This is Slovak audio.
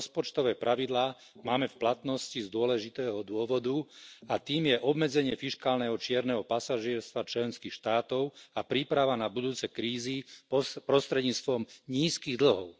Rozpočtové pravidlá máme v platnosti z dôležitého dôvodu, a tým je obmedzenie fiškálneho čierneho pasažierstva členských štátov a príprava na budúce krízy prostredníctvom nízkych dlhov.